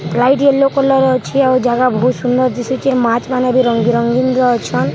light yellow colour ର ଅଛେ ଜାଗା ବହୁତ ସୁନ୍ଦର୍‌ ଦିଶୁଛେ ମାଛ୍‌ ମାନେ ବି ରଙ୍ଗ ବିରଙ୍ଗୀନ୍‌ ର ଅଛନ୍‌ --